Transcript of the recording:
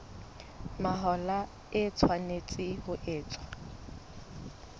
mahola e tshwanetse ho etswa